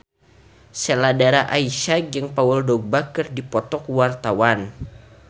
Sheila Dara Aisha jeung Paul Dogba keur dipoto ku wartawan